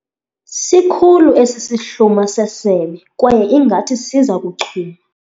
Sikhulu esi sihluma sesebe kwaye ngathi siza kuchuma.